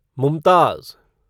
Mumtaz